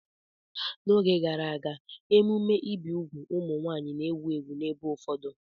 N'oge gara aga, emume ibi úgwù ụmụ nwaanyị na-ewu ewu n'ebe ụfọdụ.